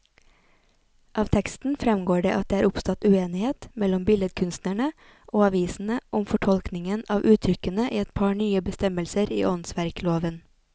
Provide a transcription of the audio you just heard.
Av teksten fremgår det at det er oppstått uenighet mellom billedkunstnerne og avisene om fortolkningen av uttrykkene i et par nye bestemmelser i åndsverkloven.